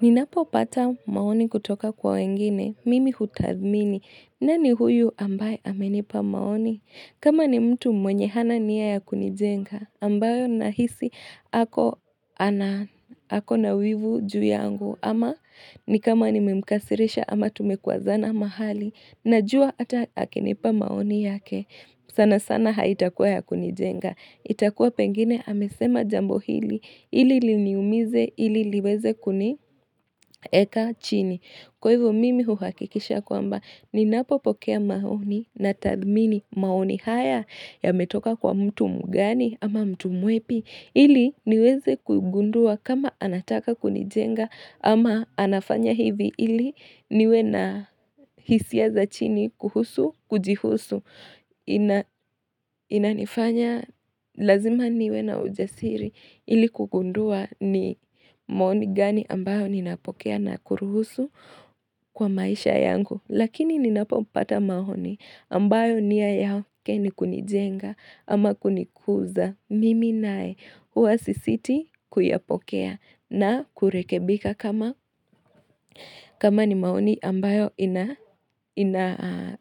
Ninapo pata maoni kutoka kwa wengine. Mimi hutathmini. Nani huyu ambaye amenipa maoni? Kama ni mtu mwenye hana nia ya kunijenga. Ambayo nahisi ako nawivu juu yangu. Ama ni kama nimemkasirisha ama tumekwazana mahali. Najua ata akinipa maoni yake. Sana sana haitakua ya kunijenga. Itakuwa pengine amesema jambo hili, ili liniumize, ili liweze kunieka chini. Kwa hivyo mimi uhakikisha kwamba, ni napopokea maoni na tathmini maoni haya yametoka kwa mtu mgani ama mtu mwepi. Ili niweze kugundua kama anataka kunijenga ama anafanya hivi ili niwe na hisia za chini kuhusu, kujihusu. Inanifanya lazima niwe na ujasiri ili kugundua ni maoni gani ambayo ninapokea na kuruhusu kwa maisha yangu. Lakini ninapopata maoni ambayo nia yake ni kunijenga ama kunikuza mimi nae huwa sisiti kuyapokea na kurekebika kama kama ni maoni ambayo ina ina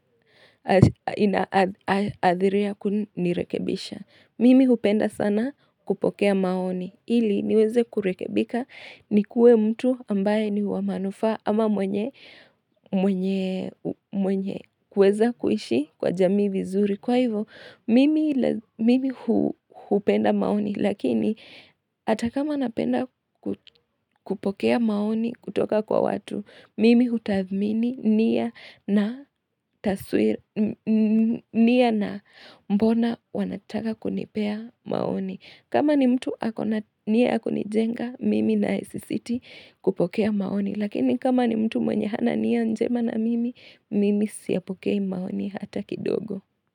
inaadhiria kunirekebisha. Mimi hupenda sana kupokea maoni. Ili niweze kurekebika nikuwe mtu ambaye ni wa manufaa ama mwenye kuweza kuishi kwa jamii vizuri. Kwa hivo, mimi hupenda maoni. Lakini, hata kama napenda kupokea maoni kutoka kwa watu, Mimi hutathmini nia na mbona wanataka kunipea maoni. Kama ni mtu akona niya akunijenga, mimi naye sisiti kupokea maoni. Lakini kama ni mtu mwenye hana nia njema na mimi, mimi siyapokei maoni hata kidogo.